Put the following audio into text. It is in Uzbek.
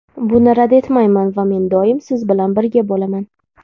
Buni rad etmayman va men doimo siz bilan birga bo‘laman.